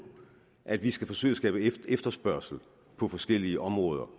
at vi skal forsøge at skabe efterspørgsel på forskellige områder